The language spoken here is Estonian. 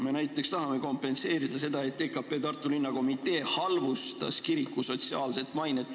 Me näiteks tahame kompenseerida seda, et EKP Tartu Linnakomitee halvustas kirikut, rikkus kiriku sotsiaalset mainet.